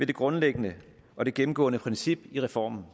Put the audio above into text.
det grundlæggende og det gennemgående princip i reformen